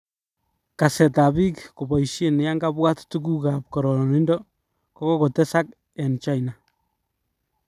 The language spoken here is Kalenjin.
Kaset ab bik koboishen yankabwat tuguk kap kororonindo kokotesak eng China.